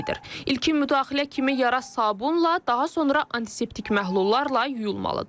İlkin müdaxilə kimi yara sabunla, daha sonra antiseptik məhlullarla yuyulmalıdır.